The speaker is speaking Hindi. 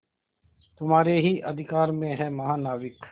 तुम्हारे ही अधिकार में है महानाविक